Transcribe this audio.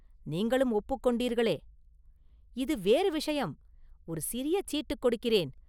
நீங்களும் ஒப்புக் கொண்டீர்களே?” “இது வேறு விஷயம்; ஒரு சிறிய சீட்டுக் கொடுக்கிறேன்.